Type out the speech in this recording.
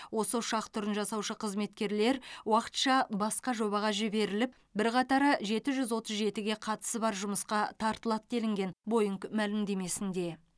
осы ұшақ түрін жасаушы қызметкерлер уақытша басқа жобаға жіберіліп бірқатары жеті жүз отыз жетіге қатысы бар жұмысқа тартылады делінген бойңг мәлімдемесінде